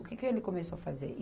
O que que ele começou a fazer?